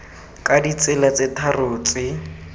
ka ditsela tse tharo tse